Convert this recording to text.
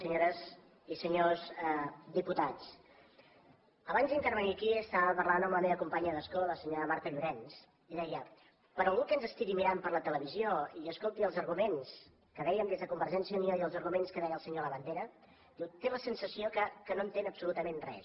senyores i senyors diputats abans d’intervenir aquí estava parlant amb la meva companya d’escó la senyora marta llorens i deia per a algú que ens estigui mirant per la televisió i escolti els arguments que dèiem des de convergència i unió i els arguments que deia el senyor labandera diu té la sensació que no entén absolutament res